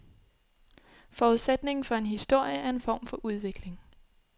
Forudsætningen for en historie er en form for udvikling.